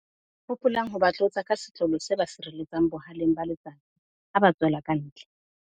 Hopolang ho ba tlotsa ka setlolo se ba sireletsang boha-leng ba letsatsi ha ba tswela kantle.